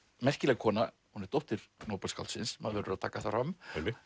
merkileg kona hún er dóttir maður verður að taka það fram